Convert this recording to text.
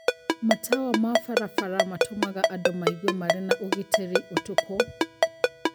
Matawa ma barabara matũmaga andũ maigue marĩ na ugitĩrĩ ũtukũ